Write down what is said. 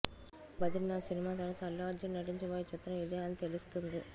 Badrinath cinema తరవాత అల్లు అర్జున్ నటించబోయే చిత్రం ఇదే అని తెలుస్తుంది